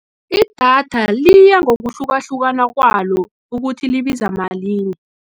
Idatha liyangokuhlukahlukana kwalo, ukuthi libiza malini.